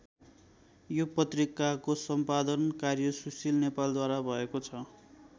यो पत्रिकाको सम्पादन कार्य सुशील नेपालद्वारा भएको छ।